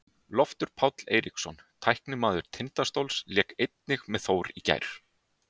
Loftur Páll Eiríksson, leikmaður Tindastóls, lék einnig með Þór í gær.